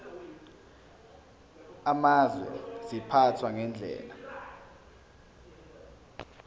amazwe ziphathwa ngendlela